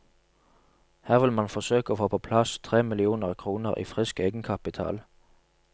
Her vil man forsøke å få på plass tre millioner kroner i frisk egenkapital.